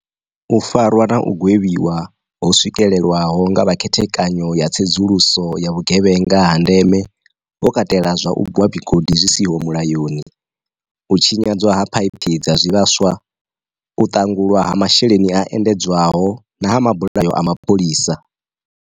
U farwa na u gwevhiwa ho swikelwaho nga vha Khethekanyo ya tsedzuluso ya vhugevhenga ha ndeme ho katela zwa u gwa migodi zwi si ho mula yoni, u tshinyadzwa a phaiphi dza zwi vhaswa, u ṱangulwa ha masheleni a endedzwaho na ha mabulayo a mapholisa.